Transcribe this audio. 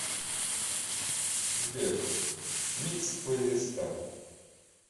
сбер микс плейлиста